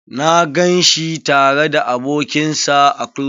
Na gan shi tare da abokin sa a klub.